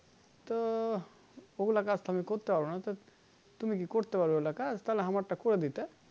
তো ওগুলা কাজ তো আমি করতে পারবোনা তুমি কী করতে পারবে ওগুলা কাজ তা আমারটা করে দিতে।